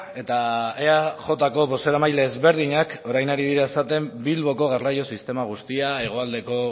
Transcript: eta eajko bozeramaile ezberdinak orain ari dira esaten bilboko garraio sistema guztia hegoaldeko